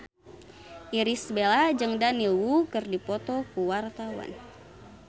Irish Bella jeung Daniel Wu keur dipoto ku wartawan